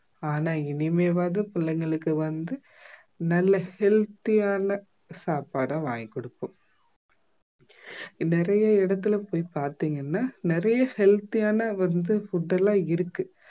ஆனா இனிமேவாது பிள்ளைங்களுக்கு வந்து நல்ல healthy யான சாப்பாடை வாங்கி கொடுப்போம் நிறைய இடத்துல போய் பாத்தீங்கன்னா நிறைய healthy யான வந்து food லாம் இருக்கு